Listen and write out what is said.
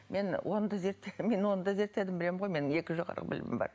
мен оны да зерттегенмін мен оны да зерттедім білемін ғой менің екі жоғарғы білімім бар